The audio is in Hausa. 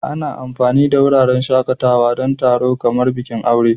Ana amfani da wuraren shakatawa don taron kamar bikin aure.